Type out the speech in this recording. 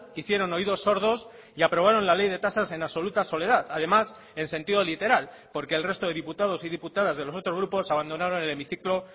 hicieron oídos sordos y aprobaron la ley de tasas en absoluta soledad además en sentido literal porque el resto de diputados y diputadas de los otros grupos abandonaron el hemiciclo